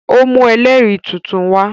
Ó mú ẹlẹ́rìí tuntun wa